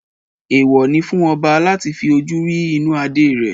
Èèwò ni fún ọba láti fi ojú rí inú adé rẹ̀